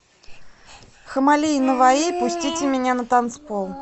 хаммали и наваи пустите меня на танцпол